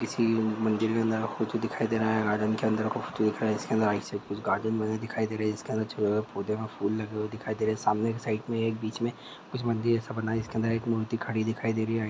किसी मंजिल के अंदर का फोटो दिखाई दे रहा है गार्डन के अंदर का फोटो दिख रहा है इसके अंदर ऐसे कुछ गार्डन बने दखाई दे रहा है इसके अंदर पौधे में फूल लगे हुए दिखाई दे रहे हैं सामने के साईड में एक बीच में कुछ मंदिर जैसा बना ह इसके अंदर एक मूर्ति खड़ी दिखाई दे रही है।